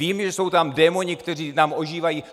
Vím, že jsou tam démoni, kteří nám ožívají.